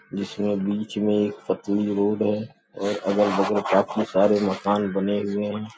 जिसमें बीच में एक पतली रोड है और अलग-बगल काफ़ी सारे मकान बने हुए हैं।